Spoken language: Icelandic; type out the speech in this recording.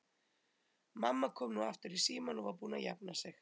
Mamma kom nú aftur í símann og var búin að jafna sig.